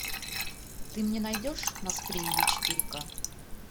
ты мне найдешь нас приняли четыре ка